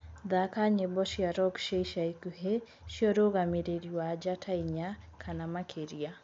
thaka nyĩmbo cĩa rock cĩa ica ĩkũhĩ cĩa urugamiriri wa njata ĩnya kana makiria